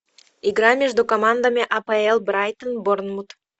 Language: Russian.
игра между командами апл брайтон борнмут